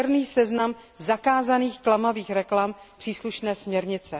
černý seznam zakázaných klamavých reklam příslušné směrnice.